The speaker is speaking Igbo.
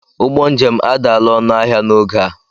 Ụgbọ njem adaala ọnụ ahịa n'oge a.